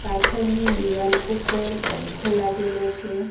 પાછળની દીવાલ ઉપર પંખો લાગેલો છે.